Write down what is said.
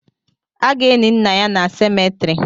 A ga-eni nna ya na semetiri